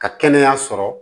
Ka kɛnɛya sɔrɔ